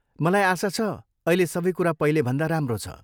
मलाई आशा छ अहिले सबै कुरा पहिलेभन्दा राम्रो छ?